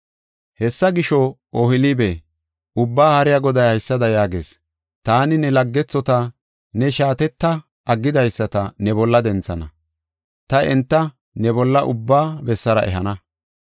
Hessa gisho, Ohoolibe, Ubbaa Haariya Goday haysada yaagees: “Taani ne laggethota, ne shaatetta aggidaysata ne bolla denthana; ta enta ne bolla ubba bessara ehana.